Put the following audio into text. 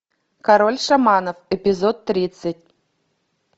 король шаманов эпизод тридцать